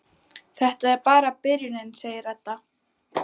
Þetta er bara byrjunin, segir Edda.